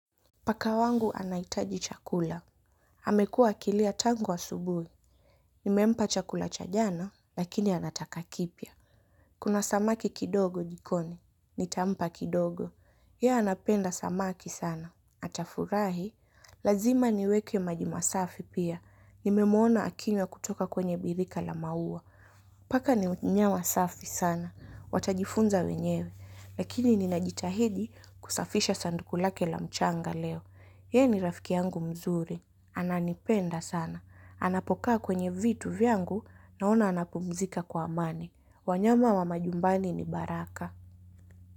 Paka wangu anahitaji chakula. Amekuwa akilia tangu asubuhi. Nimempa chakula cha jana, lakini anataka kipya. Kuna samaki kidogo jikoni. Nitampa kidogo. Ye anapenda samaki sana. Atafurahi. Lazima niweke maji masafi pia. Nimemwona akila kutoka kwenye birika la maua. Paka ni mnyama safi sana. Watajifunza wenyewe. Lakini ninajitahidi kusafisha sanduku lake la mchanga leo. Ye ni rafiki yangu mzuri. Ananipenda sana. Anapokaa kwenye vitu vyangu naona anapumzika kwa amani. Wanyama wa majumbani ni baraka.